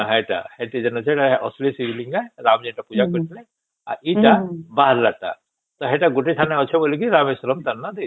ହଁ ସେଇଟା ସେଠି ଵେନୁ ସେ ଅସଲି ଶିବ ଲିଙ୍ଗ ସେ ରାମ ଯୋଉଟା ପୂଜା କରିଥିଲେ ଆଉ ଏଟା ବାହାର ତା ତା ସେଟା ଗୋଟେ ଠାରେ ଅଛି ବୋଲି ତା ନା ରାମେଶ୍ୱରମ ଦେଇଛେ